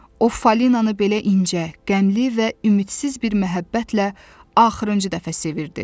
O Falinanı belə incə, qəmli və ümidsiz bir məhəbbətlə axırıncı dəfə sevirdi.